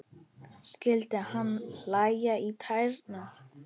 Skyldi hana klæja í tærnar?